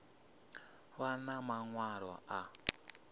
a vha na maṅwalo a